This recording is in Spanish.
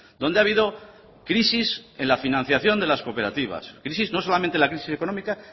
donde ha habido crisis en la financiación de las cooperativas crisis no solamente en la crisis económica